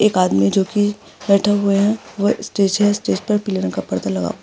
एक आदमी ज्योंकि बैठा हुआ है वो स्टेज है स्टेज पर पीले रंग का पडदा लग हुआ --